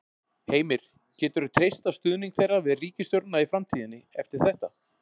Heimir: Geturðu treyst á stuðning þeirra við ríkisstjórnin í framtíðinni eftir þetta?